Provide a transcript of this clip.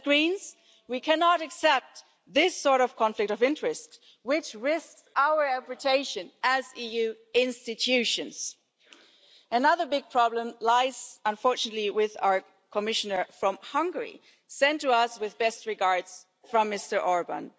And as Greens, we cannot accept this sort of conflict of interest, which risks our reputation as EU institutions. Another big problem lies, unfortunately, with our Commissioner from Hungary, sent to us with best regards from Mr Orbán.